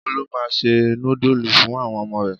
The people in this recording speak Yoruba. Olú máa ń se núdúlù fún àwọn ọmọ rẹ̀.